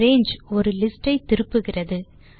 range ஒரு list ஐ திருப்புகிறது